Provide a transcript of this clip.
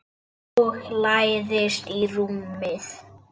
Og lagðist í rúmið.